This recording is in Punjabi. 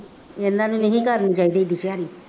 ਇਹਨਾ ਨੂੰ ਨਹੀਂ ਸੀ ਕਰਨੀ ਚਾਹੀਦੀ ਐਡੀ ਭੈੜੀ